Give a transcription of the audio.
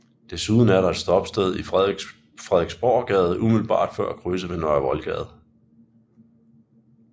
Desuden er der et stoppested i Frederiksborggade umiddelbart før krydset med Nørre Voldgade